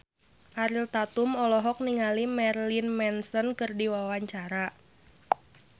Ariel Tatum olohok ningali Marilyn Manson keur diwawancara